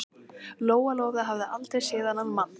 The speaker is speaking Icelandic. Lóa-Lóa hafði aldrei séð þennan mann.